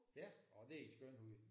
Ja åh det er en skøn hund